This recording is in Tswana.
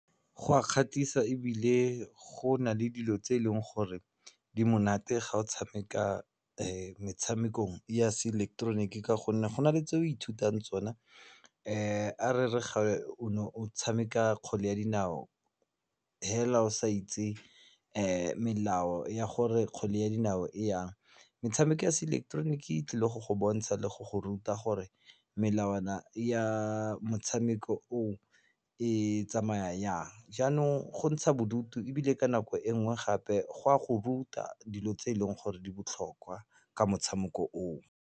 Gwa kgwatlhisa ebile go nale dilo tse eleng gore di monate ga o tshameka metshamekong ya se ileketeroniki ka gonne go na le tse o ithutang tsona a re re o ne o tshameka kgwele ya dinao hela o sa itse melao ya gore kgwele ya dinao e yang metshameko ya se ileketeroniki e tlile go go bontsha le go go ruta gore melawana ya motshameko o e tsamaya yang jaanong go ntsha bodutu ebile ka nako enngwe gape go a go ruta dilo tse eleng gore di botlhokwa ka motshameko o o.